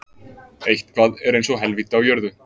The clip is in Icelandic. Eitthvað er eins og helvíti á jörðu